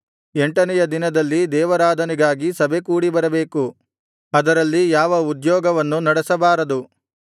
ಎಂಟನೆಯ ದಿನದಲ್ಲಿ ದೇವಾರಾಧನೆಗೆ ಸಭೆ ಕೂಡಿಬರಬೇಕು ಅದರಲ್ಲಿ ಯಾವ ಉದ್ಯೋಗವನ್ನೂ ನಡೆಸಬಾರದು